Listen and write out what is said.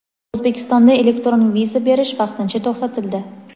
O‘zbekistonda elektron viza berish vaqtincha to‘xtatildi.